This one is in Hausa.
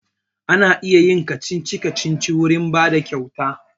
Ana iya yin kacici-kacici wurin bada kyauta